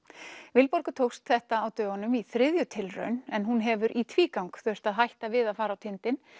Vilborgu tókst þetta á dögunum í þriðju tilraun en hún hefur í tvígang þurft að hætta við að fara á tindinn